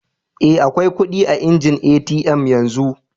Eh, akwai kudi a injin ATM yanzu.